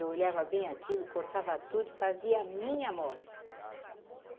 Eu olhava bem aquilo, cortava tudo e fazia minha moda.